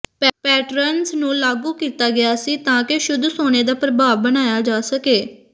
patterns ਨੂੰ ਲਾਗੂ ਕੀਤਾ ਗਿਆ ਸੀ ਤਾਂ ਕਿ ਸ਼ੁੱਧ ਸੋਨੇ ਦਾ ਪ੍ਰਭਾਵ ਬਣਾਇਆ ਜਾ ਸਕੇ